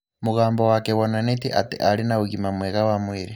Mũgambo wake wonantie atĩ arĩ na ũgima mwega wa mwĩrĩ.